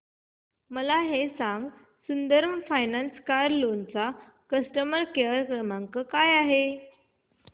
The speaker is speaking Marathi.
मला हे सांग सुंदरम फायनान्स कार लोन चा कस्टमर केअर क्रमांक काय आहे